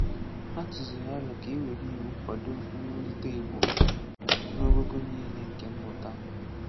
Ha tụ̀zìrì àlò ka e wèrè ìwu kwàdò mwùlítè Ìgbò n’ógógò niile nke mmụ̀tà.